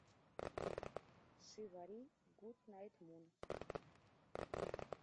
шивари гуд найт мун